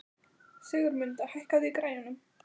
Sigurmunda, hækkaðu í græjunum.